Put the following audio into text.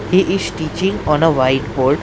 He is teaching on a white board.